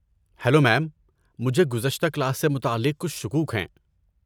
Hello ma'am, مجھے گزشتہ class سے متعلق کچھ شکوک ہیں۔